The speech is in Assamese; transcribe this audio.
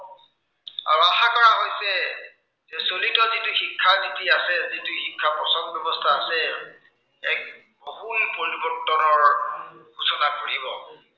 চলিত যিটো শিক্ষানীতি আছে, যিটো শিক্ষাৰ প্ৰচলন ব্য়ৱস্থা আছে, এক আমূল পৰিৱৰ্তনৰ সূচনা কৰিব।